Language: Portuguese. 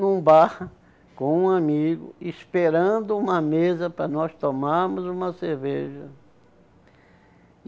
num bar com um amigo, esperando uma mesa para nós tomarmos uma cerveja.